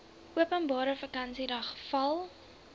openbare vakansiedag val